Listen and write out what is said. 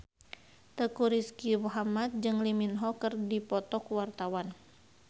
Teuku Rizky Muhammad jeung Lee Min Ho keur dipoto ku wartawan